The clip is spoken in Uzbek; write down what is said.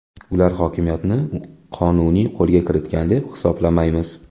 Ular hokimiyatni qonuniy qo‘lga kiritgan deb hisoblamaymiz.